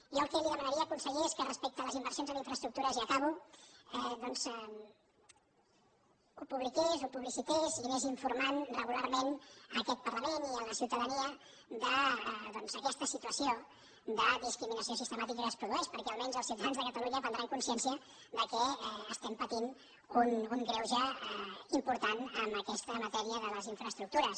jo el que li demanaria conseller és que respecte a les inversions en infraestructures i acabo doncs ho publiqués ho publicités i anés informant regularment aquest parlament i la ciutadania d’aquesta situació de discriminació sistemàtica que es produeix perquè almenys els ciutadans de catalunya prendran consciència que estem patint un greuge important en aquesta matèria de les infraestructures